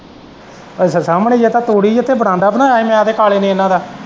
ਅੱਛਾ ਸਾਮਨੇ ਜਿੱਥੇ ਤੂੜੀ ਜਿੱਥੇ ਬਰਾਂਡਾ ਬਣਾਇਆ ਮੈਂ ਤੇ ਕਾਲੇ ਨੋ ਇਨਾਂ ਦਾ।